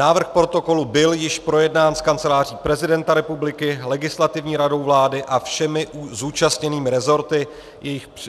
Návrh protokolu byl již projednán s Kanceláří prezidenta republiky, Legislativní radou vlády a všemi zúčastněnými resorty,